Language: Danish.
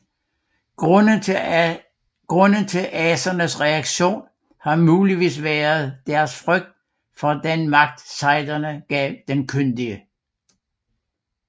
Grunden til asernes reaktion har muligvis været deres frygt for den magt sejden gav den kyndige